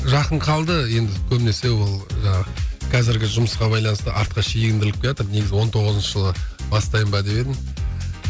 жақын қалды енді көбінесе ол жаңағы қазіргі жұмысқа байланысты артқа шегіндіріліп келатыр негізі он тоғызыншы жылы бастайын ба деп едім